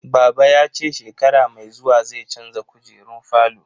Baba ya ce shekara mai zuwa zai canza kujerun falo